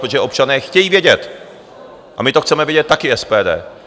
Protože občané chtějí vědět a my to chceme vědět taky SPD.